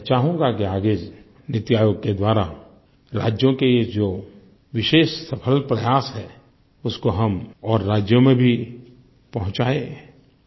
मैं चाहूँगा कि आगे नीति आयोग के द्वारा राज्यों के जो विशेष सफल प्रयास हैं उसको हम और राज्यों में भी पहुँचाएँ